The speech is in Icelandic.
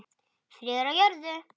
Friður á jörðu.